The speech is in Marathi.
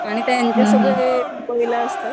आणि त्यांचे सगळे असतात.